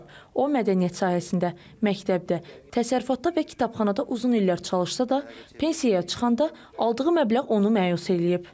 O mədəniyyət sahəsində, məktəbdə, təsərrüfatda və kitabxanada uzun illər çalışsa da, pensiyaya çıxanda aldığı məbləğ onu məyus eləyib.